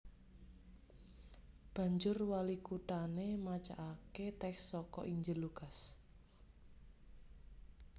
Banjur walikuthané macakaké tèks saka Injil Lukas